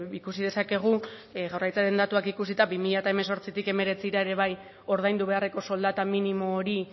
ikusi dezakegu jaurlaritzaren datuak ikusita bi mila hemezortzitik hemeretzira ere bai ordaindu beharreko soldata minimo hori